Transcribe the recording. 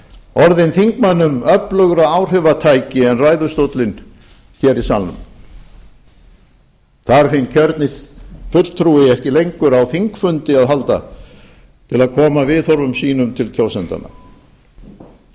orðin þingmönnum öflugra áhrifatæki en ræðustóllinn hér í salnum þarf hinn kjörni fulltrúi ekki lengur á þingfundi að halda til að koma viðhorfum sínum til kjósendanna getur